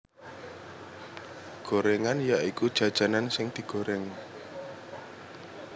Gorengan ya iku jajanan sing digoreng